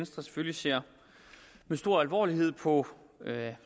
selvfølgelig ser med stor alvor på